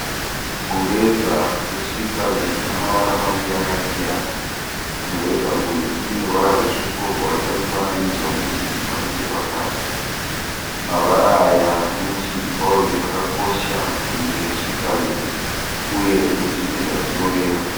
Mureza we Switzerland una mavara maviri akasiyana mureza uyu une ruvara rutsvuku wobva waita mufananidzo wemu chinjikwa nechepakati mavara aya nemu chinjikwa uyu zvakakosha kunyika yeSwitzerland uye zvine zvazvinoreva.